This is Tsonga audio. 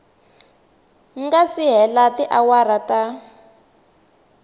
nga si hela tiawara ta